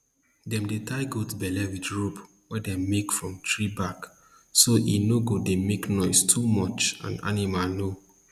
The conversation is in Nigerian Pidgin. dem dey tie goat bell with rope wey dem make from tree bark so e no go dey make noise too much and animal no